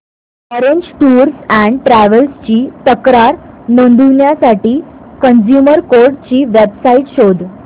orange Tours and Travels ची तक्रार नोंदवण्यासाठी कंझ्युमर कोर्ट ची वेब साइट शोध